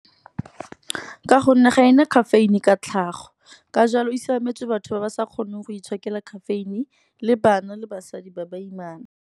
Ka gonne ga e na caffeine ka tlhago, ka jalo e siametse batho ba ba sa kgoneng go itshokela caffeine, le bana le basadi ba baimana.